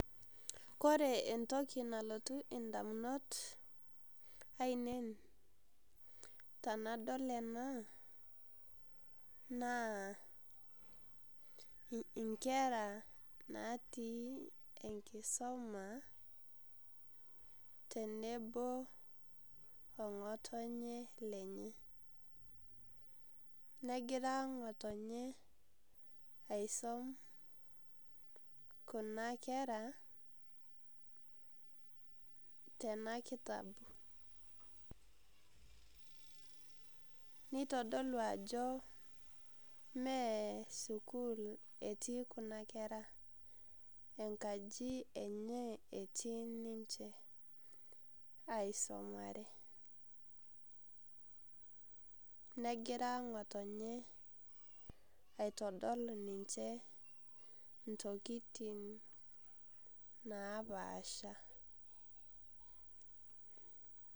Kore entoki nalotu indamunot ainei, tenadol ena naa, inkera naati enkisoma tenebo o ng'otonye lenye. Negira ng'otonye aisom kuna kera tena kitabu, neitodolu ajo mee sukuul etii kuna kera, enkaji enye etii niche aisomare, negira ngotonye aitodol ninche intokitin napaasha.